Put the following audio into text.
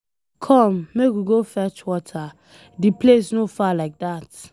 Come make we go fetch water, the place no far like dat.